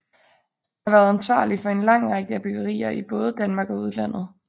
Er været ansvarlig for en lang række byggerier i både Danmark og udlandet